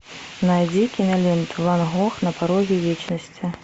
найди киноленту ван гог на пороге вечности